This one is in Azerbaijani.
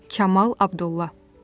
Kamal Abdulla.